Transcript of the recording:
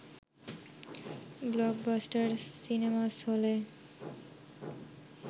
blockbuster cinemas হলে